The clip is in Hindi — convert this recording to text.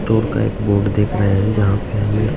स्टोर का एक बोर्ड देख रहे हैं जहाँ पे हमें--